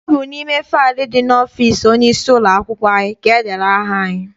Ọ bụ n'ime faịlu ndị dị n'ọfịịsi onye isi ụlọakwụkwọ anyị ka edere aha anyị.